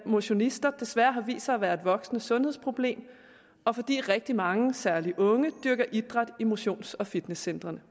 motionister desværre har vist sig at være et voksende sundhedsproblem og fordi rigtig mange særlig unge dyrker idræt i motions og fitnesscentrene